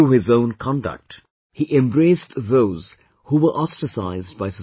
Through his own conduct, he embraced those who were ostracized by society